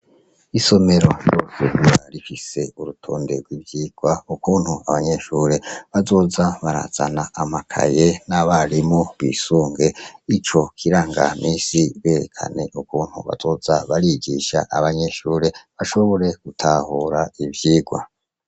Isomero rosenra rikise urutonde rw'ivyirwa ukuntu abanyeshure bazoza barazana amakaye n'abarimo bisunge i co kiranga misi berekane ukuntu bazoza barigisha abanyeshure ashobore gutahura ivyirwa.